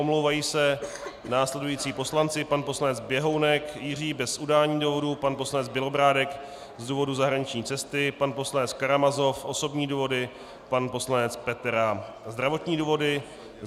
Omlouvají se následující poslanci: pan poslanec Běhounek Jiří bez udání důvodu, pan poslanec Bělobrádek z důvodu zahraniční cesty, pan poslanec Karamazov - osobní důvody, pan poslanec Petera - zdravotní důvody.